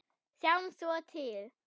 Sjáum svo til.